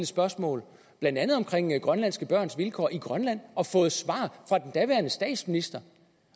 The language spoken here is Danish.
spørgsmål blandt andet om grønlandske børns vilkår i grønland og fået svar fra den daværende statsminister